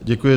Děkuji.